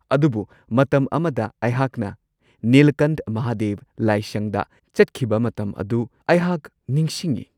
ꯑꯗꯨꯕꯨ ꯃꯇꯝ ꯑꯃꯗ ꯑꯩꯍꯥꯛꯅ ꯅꯤꯂꯀꯟꯊ ꯃꯍꯥꯗꯦꯕ ꯂꯥꯏꯁꯪꯗ ꯆꯠꯈꯤꯕ ꯃꯇꯝ ꯑꯗꯨ ꯑꯩꯍꯥꯛ ꯅꯤꯡꯁꯤꯡꯉꯤ꯫